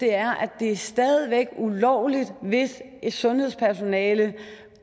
er at det stadig væk er ulovligt hvis sundhedspersonale